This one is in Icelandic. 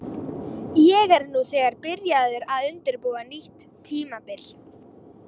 Ég er nú þegar byrjaður að undirbúa nýtt tímabil.